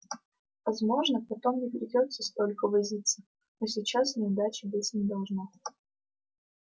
возможно потом не придётся столько возиться но сейчас неудачи быть не должно